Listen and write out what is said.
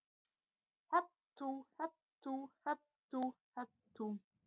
Hep tú, hep tú, hep tú, hep tú.